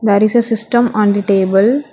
There is system on the table.